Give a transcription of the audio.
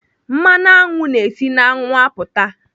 Mmanụ aṅụ na-esi n'aṅụ apụta.